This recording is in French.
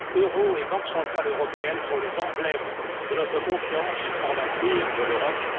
Euro et Banque centrale européenne sont les emblèmes de notre confiance en l'avenir de l'Europe.